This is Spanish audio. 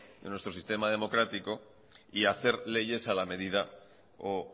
de nuestro sistema democrático y hacer leyes a la medida o